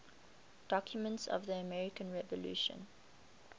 documents of the american revolution